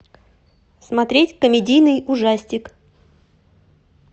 смотреть комедийный ужастик